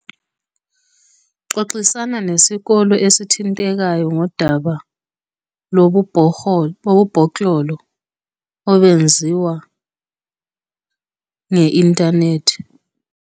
Xoxisana nesikolo esithintekayo ngodaba lobubhoklolo obenziwa nge-inthanethi.